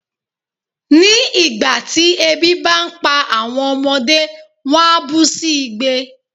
Ní ìgbà tí ebi bá ń pa àwọn ọmọdé, wón á bú sí igbe.